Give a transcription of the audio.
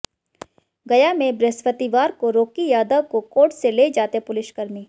गया में बृहस्पतिवार को राॅकी यादव को कोर्ट से ले जाते पुलिसकर्मी